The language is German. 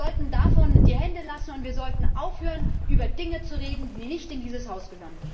Wir sollten davon die Hände lassen, und wir sollten aufhören, über Dinge zu reden, die nicht in dieses Haus gehören.